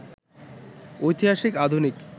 ঐতিহাসিক, আধুনিক